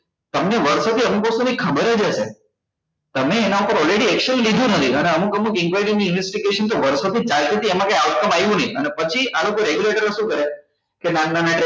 તમને વર્ષો થી અનુભવ થી ખબર જ હશે તમે એના પર already action લીધું નથી અને અમુક અમુક inquiry ની investigation તો વર્ષો થી ચાલતી હતી એમાં કઈ આવ્યું નહી અને પછી આ લોકો regulatorer ઓ શું કરે કે નાના નાના